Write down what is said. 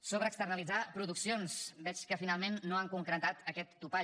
sobre externalitzar produccions veig que finalment no han concretat aquest topall